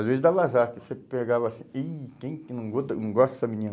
Às vezes dava azar, porque você pegava assim, ih, quem não gosta dessa menina?